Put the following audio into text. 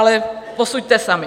Ale posuďte sami.